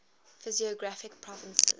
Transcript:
physiographic provinces